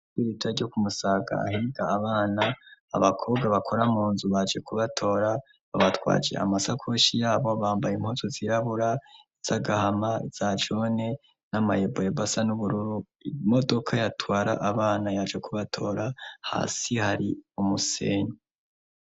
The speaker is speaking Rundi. Ko i rita ryo kumusagahiga abana abakobwa bakora mu nzu baje kubatora babatwaje amasakoshi yabo bambaye impozo zirabura izagahama zajone n'amayeboye basa n'ubururu imodoka yatwara abana yaje kubatora hasi hari umusenya.